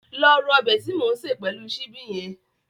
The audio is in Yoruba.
Lọ ro ọbẹ̀ tí mò ń sè pẹ̀lú ṣíbí hẹn